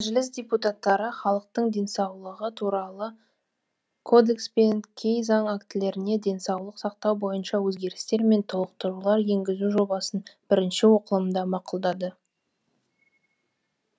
мәжіліс депутаттары халықтың денсаулығы туралы кодекс пен кей заң актілеріне денсаулық сақтау бойынша өзгерістер мен толықтырулар енгізу жобасын бірінші оқылымда мақұлдады